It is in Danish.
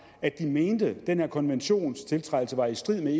at de mente at den her konventionstiltrædelse var i strid med